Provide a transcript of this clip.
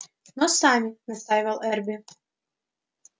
но сами настаивал эрби